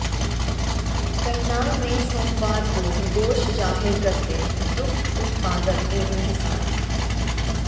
करनाल में सोमवार को रोष जाहिर करते दुग्ध उत्पादक एवं किसान